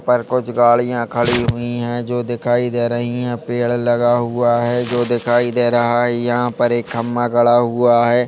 पर कुछ गाड़ियां खड़ी हुई है जो दिखाई दे रही है पेड़ लगा हुआ है जो दिखाई दे रहा है यहाँ पर एक खंभा खड़ा हुआ है जो--